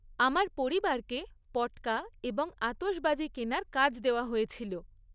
আমার পরিবারকে পট্কা‌ এবং আতশবাজি কেনার কাজ দেওয়া হয়েছিল।